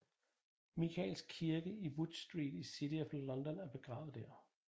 Mikaels Kirke i Wood Street i City of London og begravet der